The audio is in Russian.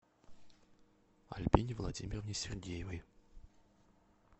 альбине владимировне сергеевой